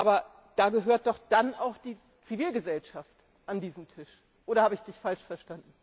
Aber dann gehört doch auch die Zivilgsellschaft an diesen Tisch, oder habe ich dich falsch verstanden?